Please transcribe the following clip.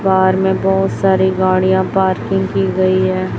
पार में बहुत सारी गाड़ियां पार्किंग की गई है।